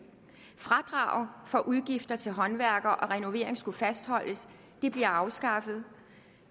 fradraget for udgifter til håndværkere og renovering skulle fastholdes det bliver afskaffet